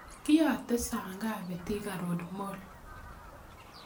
Kiyate saa ngapi thika road mall